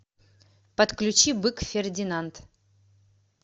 подключи бык фердинанд